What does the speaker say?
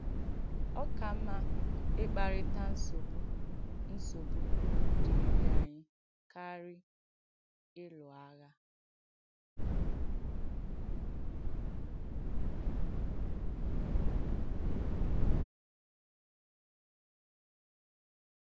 Ọ̀ ka mma ị̀kpàrị̀tà ǹsọ́bù ǹsọ́bù dìirì ànyị̣ kàrị̀ ị̀lụ̀ àghà.